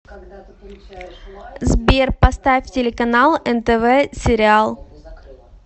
сбер поставь телеканал нтв сериал